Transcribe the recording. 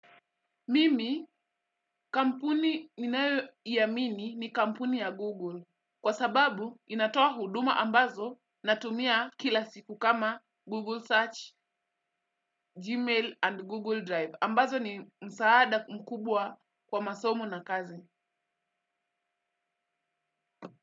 Mimi kampuni ninayoiamini ni kampuni ya Google. Kwa sababu inatoa huduma ambazo natumia kila siku kama Google Search, Gmail and Google Drive. Ambazo ni msaada mkubwa kwa masomo na kazi.